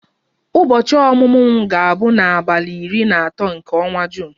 Ụbọchị ọmụmụ m ga-abụ n'abalị iri na atọ nke ọnwa Juun.